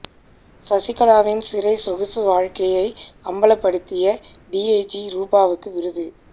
சசிகலாவின் சிறை சொகுசு வாழ்க்கையை அம்பலப்படுத்திய டிஐஜி ரூபாவுக்கு விருது